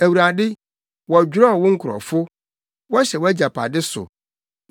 Awurade, wɔdwerɛw wo nkurɔfo; wɔhyɛ wʼagyapade so.